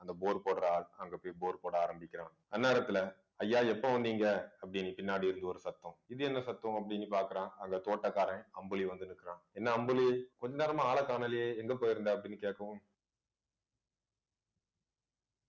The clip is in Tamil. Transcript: அந்த bore போடற ஆள் அங்க போய் bore போட ஆரம்பிக்கிறான் அந்நேரத்துல ஐயா எப்ப வந்தீங்க அப்படின்னு பின்னாடி இருந்து ஒரு சத்த இது என்ன சத்தம் அப்படீன்னு பார்க்கிறான் அந்த தோட்டக்காரன் அம்புலி வந்து நிற்கிறான் என்ன அம்புலி கொஞ்ச நேரமா ஆளைக் காணலையே எங்க போயிருந்த அப்படின்னு கேட்கவும்